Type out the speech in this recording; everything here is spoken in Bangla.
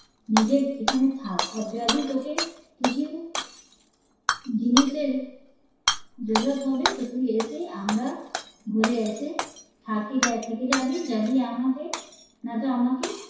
নিজের এখানে থাকার যদি তোকে কিছু জিনিস এর হবে তুই এসে আমরা ঘুরে এসে থেকে যাবি যাবি আমাকে নয়তো আমাকে